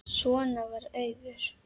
Svona var Auður.